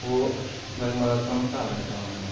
वो वेक मदद कनु ताल बटे काम कना मा ।